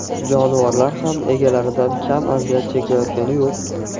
Jonivorlar ham egalaridan kam aziyat chekayotgani yo‘q .